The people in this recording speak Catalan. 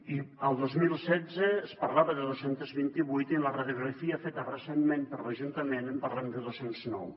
i el dos mil setze es parlava de dos cents i vint vuit i en la radiografia feta recentment per l’ajuntament parlem de dos cents i nou